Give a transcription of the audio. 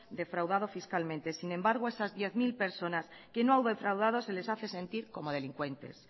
defraudado fiscalmente sin embargo esas diez mil personas que no han defraudado se les hace sentir como delincuentes